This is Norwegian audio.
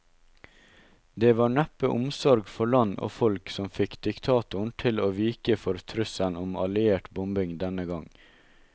Det var neppe omsorg for land og folk som fikk diktatoren til å vike for trusselen om alliert bombing denne gang.